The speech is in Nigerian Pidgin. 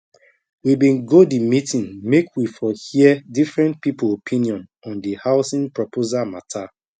we been go the meeting make we for hear different people opinion on the housing proposal matter